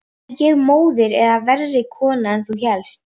Er ég móðir eða verri kona en þú hélst?